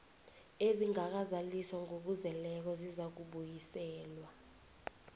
ezingakazaliswa ngokuzeleko zizakubuyiselwa